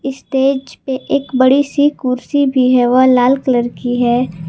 Stage पे एक बड़ी सी कुर्सी भी है वह लाल कलर की है।